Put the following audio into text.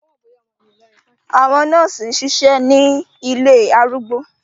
Àwọn nọọsi ṣiṣẹ ni ilé arúgbó